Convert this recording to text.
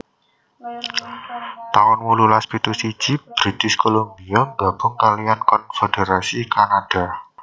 taun wolulas pitu siji British Columbia nggabung kaliyan konfédherasi Kanada